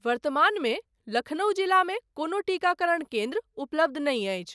वर्तमानमे लखनऊ जिलामे कोनो टीकाकरण केन्द्र उपलब्ध नहि अछि।